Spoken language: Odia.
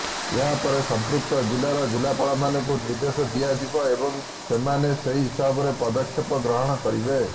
ଏହା ପରେ ସମ୍ପୃକ୍ତ ଜିଲ୍ଲାର ଜିଲ୍ଲାପାଳମାନଙ୍କୁ ନିର୍ଦ୍ଦେଶ ଦିଆଯିବ ଏବଂ ସେମାନେ ସେହି ହିସାବରେ ପଦକ୍ଷେପ ଗ୍ରହଣ କରିବେ